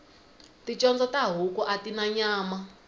ticondzo ta huku atina nyama